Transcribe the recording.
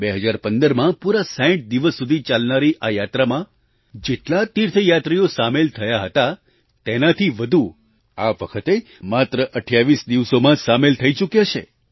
2015માં પૂરા 60 દિવસ સુધી ચાલનારી આ યાત્રામાં જેટલા તીર્થયાત્રીઓ સામેલ થયા હતા તેનાથી વધુ આ વખતે માત્ર 28 દિવસોમાં જ સામેલ થઈ ચૂક્યા છે